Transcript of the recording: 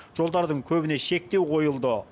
жолдардың көбіне шектеу қойылды